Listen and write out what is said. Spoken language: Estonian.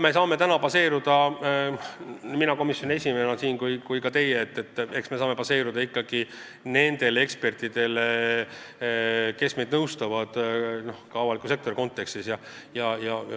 Me saame täna baseeruda – nii mina komisjoni esimehena kui ka teie – ikkagi nendele ekspertidele, kes meid avalikus sektoris nõustavad.